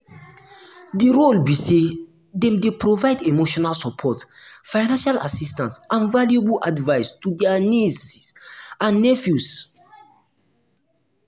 di role be say dem dey provide emotional support financial assistance and valuable advice to dia nieces and nephews.